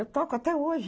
Eu toco até hoje.